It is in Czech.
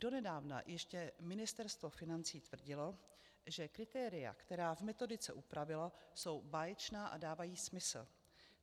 Donedávna ještě Ministerstvo financí tvrdilo, že kritéria, která v metodice upravilo, jsou báječná a dávají smysl.